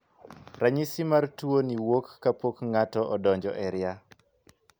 Ranyisi mar tuo ni wuok kapok ng'ato odonjo e ria.